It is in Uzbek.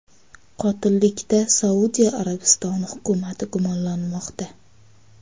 Qotillikda Saudiya Arabistoni hukumati gumonlanmoqda.